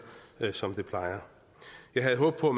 som det plejer jeg havde håbet på